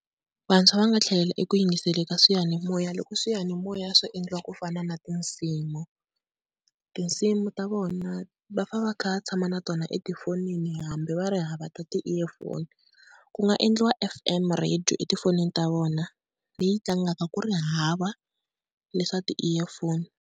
Vantshwa va nga tlhelela eku yingiseleni ka swiyanimoya loko swiyanimoya swo endliwa ku fana na tinsimu. Tinsimu ta vona va fane va kha va tshama na tona etifonini hambi va ri hava ta ti-earphone. Ku nga endliwa F_M radio etifonini ta vona leyi tlangaka ku ri hava leswa ti-earphone.